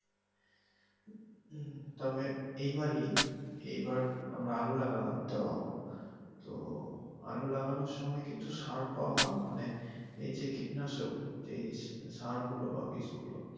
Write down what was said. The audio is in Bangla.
হম তবে এইবারেই এইবার আমরা আলু লাগালাম তো তো আলু লাগানোর সময় কিন্তু সার পাওয়া মানে এইযে কীটনাশক যে সারগুলো বা বীজ গুলো